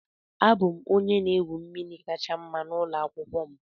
Abụ m onye na-egwu mmiri kacha mma n'ụlọ akwụkwọ m